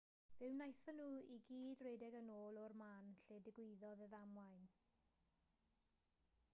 fe wnaethon nhw i gyd redeg yn ôl o'r man lle digwyddodd y ddamwain